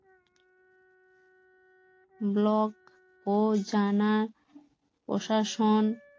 block ও জানা প্রশাসন